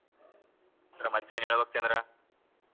ಮತ್ತೆ ಏನ್ ಹೇಳ್ಬೇಕು ಚಂದ್ರ?